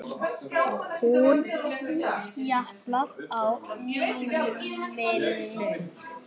Hún japlaði á líminu.